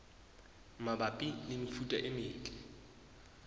mabapi le mefuta e metle